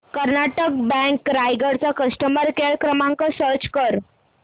Karnataka bank Raigad चा customer care क्रमांक search कर